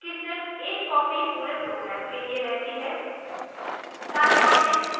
static variable की सिर्फ एक copy पूरे program के लिए रहती है